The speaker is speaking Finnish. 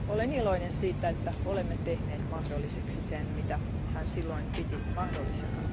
Olen iloinen siitä, että olemme tehneet mahdolliseksi sen, mitä hän silloin piti mahdottomana.